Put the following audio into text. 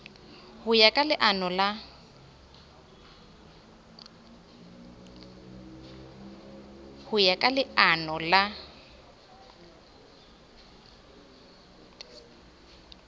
ho ya ka leano la